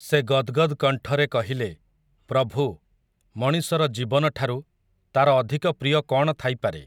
ସେ ଗଦ୍‌ଗଦ୍ କଣ୍ଠରେ କହିଲେ, ପ୍ରଭୁ, ମଣିଷର ଜୀବନଠାରୁ, ତାର ଅଧିକ ପ୍ରିୟ କ'ଣ ଥାଇପାରେ ।